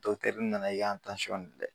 Dɔgɔtɛri nana yan tansiyiɔn tun tɛ